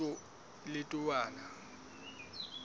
letowana